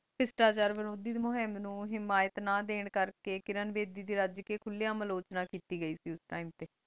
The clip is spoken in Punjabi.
ਸ਼ਿਸ਼ਟਾਚਾਰ ਮੁਹ੍ਮਾਮ ਨੂ ਹਿਮਾਯਤ ਨਾ ਦੇਣ ਕਰ ਕੀ ਕਿਰਣ ਬੇਦੀ ਦੇ ਰਾਜ ਕੀ ਖੁਲ੍ਯਾ ਮਾਲੋਚਨਾ ਕੀਤੀ ਗਏ ਸੇ ਓਸ ਟੀਮੇ ਟੀ